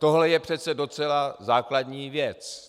Tohle je přece docela základní věc.